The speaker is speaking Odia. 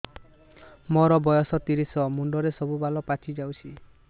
ମୋର ବୟସ ତିରିଶ ମୁଣ୍ଡରେ ସବୁ ବାଳ ପାଚିଯାଇଛି